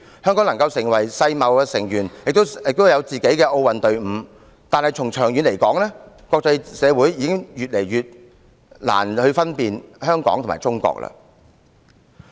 香港能成為世界貿易組織成員，也擁有自己的奧運隊伍，但從長遠來說，國際社會已越來越難分辨香港和中國了。